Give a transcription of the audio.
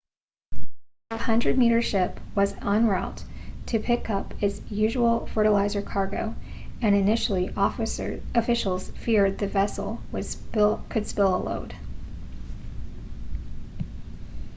the 100-metre ship was en route to pick up its usual fertiliser cargo and initially officials feared the vessel could spill a load